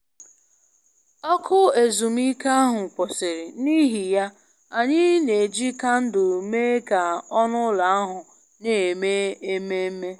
Ọkụ ezumike ahụ kwụsịrị, n'ihi ya, anyị na-eji kandụl mee ka ọnụ ụlọ ahụ na-eme ememe